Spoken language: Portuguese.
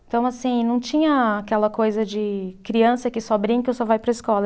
Então, assim, não tinha aquela coisa de criança que só brinca ou só vai para a escola.